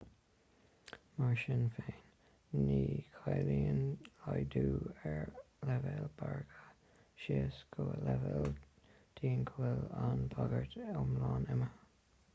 mar sin féin ní chiallaíonn laghdú ar leibhéal bagartha síos go leibhéal dian go bhfuil an bhagairt iomlán imithe